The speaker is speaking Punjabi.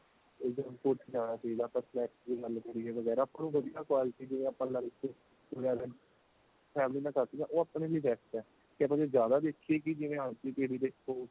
junk food ਚ ਜਾਣਾ ਚਾਹੀਦਾ ਆਪਾਂ snacks ਦੀ ਗੱਲ ਕਰੀਏ ਆਪਾਂ ਨੂੰ ਵਧੀਆ quality ਦੇ ਆਪਾਂ lunch ਲੈ family ਨਾਲ ਕਰ ਲਈਏ ਉਹ ਆਪਣੇ ਲਈ best ਏ ਕੀ ਆਪਾਂ ਜੇ ਜਿਆਦਾ ਦੇਖੀਏ ਕੀ ਜਿਵੇਂ ਅੱਜ ਦੀ ਪੀੜੀ ਦੇਖੋ